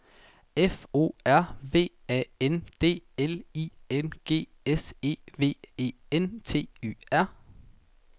F O R V A N D L I N G S E V E N T Y R